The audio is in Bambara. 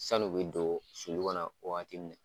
San'u bɛ don sulu kɔnɔn wagati min nɛ.